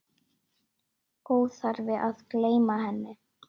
Óþarfi að gleyma henni!